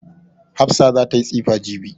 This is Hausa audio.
Hafsa za ta yi tsifa jibi.